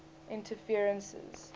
interferences